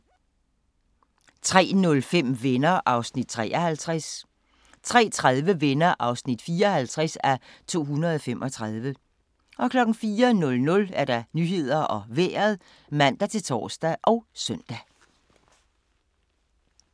03:05: Venner (53:235) 03:30: Venner (54:235) 04:00: Nyhederne og Vejret (man-tor og søn)